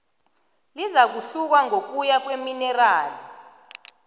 lizakuhluka ngokuya kweminerali